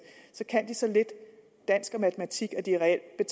kan så lidt dansk og matematik at de reelt